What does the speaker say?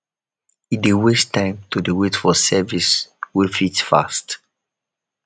e dey waste time to dey wait for service wey fit fast